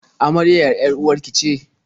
Amaryar 'yar-uwar ki ce?